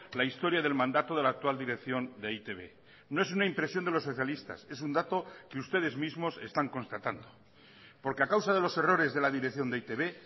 la historia del mandato de la actual dirección de e i te be no es una impresión de los socialistas es un dato que ustedes mismos están constatando porque a causa de los errores de la dirección de e i te be